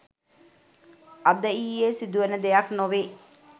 අද ඊයේ සිදුවන දෙයක් නොවේ